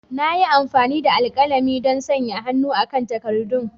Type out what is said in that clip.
Na yi amfani da alkalami don sanya hannu kan takaddun.